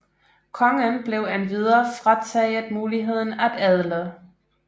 Kongen blev endvidere frataget muligheden at adle